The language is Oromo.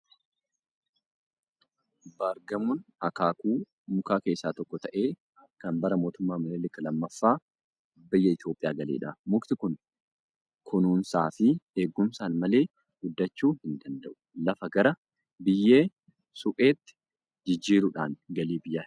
Baargamoon akaakuu mukaa keessaa tokko ta'ee kan bara Mootummaa Minilik lammaffaa biyya Itoophiyaa galedha. Mukti kun kunuunsaa fi eegumsaan malee guddachuu hin danda'u. Lafa gara biyyee supheetti jijjiiruudhaan galii biyyaa hir'isa.